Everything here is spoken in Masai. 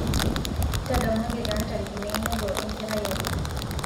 ntadamuaki taa ntarikini einoto enkerai aai